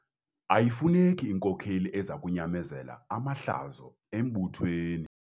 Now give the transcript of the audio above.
Ayifuneki inkokeli eza kunyamezela amahlazo embuthweni.